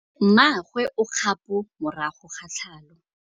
Mmagwe o kgapô morago ga tlhalô.